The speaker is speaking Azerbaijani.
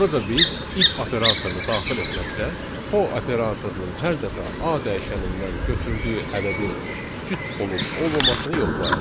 Burada biz if operatorunu daxil etməklə for operatorunun hər dəfə a dəyişənindən götürdüyü ədədin cüt olub olmamasını yoxlayarıq.